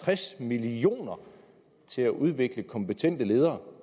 tres million kroner til at udvikle kompetente ledere